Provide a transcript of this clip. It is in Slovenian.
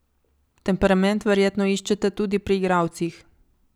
Temperament verjetno iščete tudi pri igralcih.